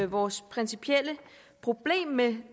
vores principielle problem med